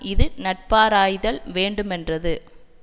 இது நட்பாராய்தல் வேண்டு மென்றது